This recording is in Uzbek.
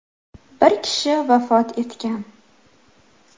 Bir kishi vafot etgan.